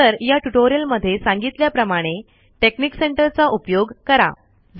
नंतर या ट्यूटोरियल मध्ये सांगितल्या प्रमाणे टेकनिक सेंटर चा उपयोग करा